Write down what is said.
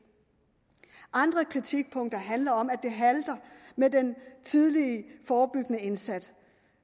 andre kritikpunkter handler om at det halter med den tidlige forebyggende indsats